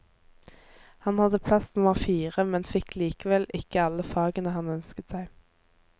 Han hadde plass nummer fire, men fikk likevel ikke alle fagene han ønsket seg.